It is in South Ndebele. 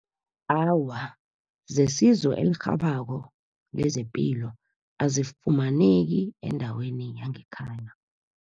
Awa, zesizo elirhabako nezepilo, azifumaneki endaweni yangekhaya.